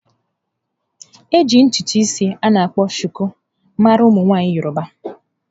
Eji ntutu isi a na akpọ suku mara ụmụ nwaanyị yọrọba.